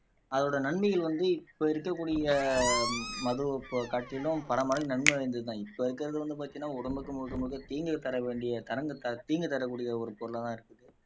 அதோட நன்மைகள் வந்து இப்ப இருக்கக்கூடிய மதுவை காட்டிலும் பல மடங்கு நன்மை இப்ப இருக்கிறது வந்து பாத்தீங்கன்னா உடம்புக்கு முழுக்க முழுக்க தீங்கை தரவேண்டிய கரங்கள் தீங்கு தரக்கூடிய ஒரு பொருளாதான் இருக்குது